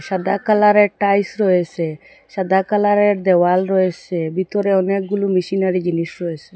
সাদা কালারে র টাইস রয়েসে সাদা কালারে র দেওয়াল রয়েসে ভিতরে অনেকগুলো মিশিনারি জিনিস রয়েসে।